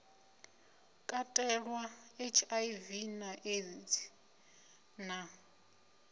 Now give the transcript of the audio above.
katelwa hiv na aids na